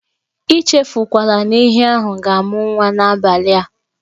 E chefukwala na ehi ahụ ga-amụ nwa n'abalị a.